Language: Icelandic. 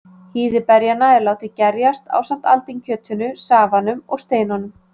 Hýði berjanna er látið gerjast, ásamt aldinkjötinu, safanum og steinunum.